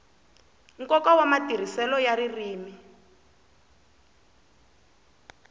nkoka wa matirhiselo ya ririmi